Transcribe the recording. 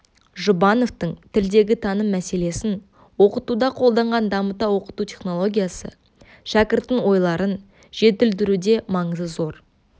жұбановтың тілдегі таным мәселесін оқытуда қолданған дамыта оқыту технологиясы шәкірттің ойларын жетілдіруде маңызы зор